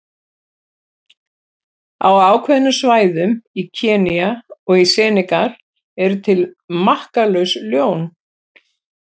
Á ákveðnum svæðum í Kenía og í Senegal eru til makkalaus ljón.